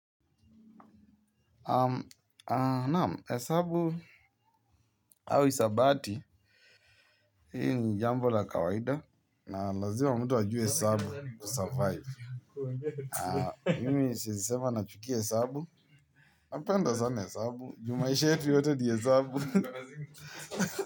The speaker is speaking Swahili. Naam, hesabu au hisabati. Hili ni jambo la kawaida. Na lazima mtu ajue hesabu kusurvive. Mimi siwezi sema nachukia hesabu. Napenda sana hesabu. Ju maisha yetu yote ni hesabu.